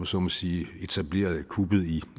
så må sige etablerede kuppet i